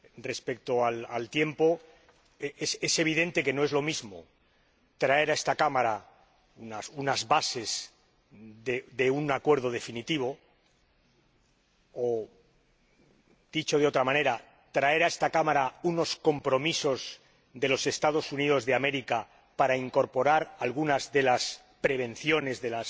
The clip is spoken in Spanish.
Respecto al tiempo, es evidente que no es lo mismo traer a esta Cámara unas bases de un acuerdo definitivo, o dicho de otra manera, traer a esta Cámara unos compromisos de los Estados Unidos de América para incorporar algunas de las prevenciones, de